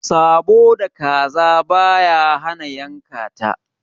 Sabo da kaza baya hana yanka.